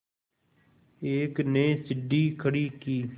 एक ने सीढ़ी खड़ी की